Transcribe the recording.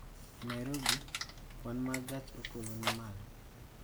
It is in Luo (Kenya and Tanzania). E Nairobi, kwan ma gach okoloni malo